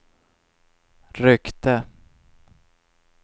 ryckte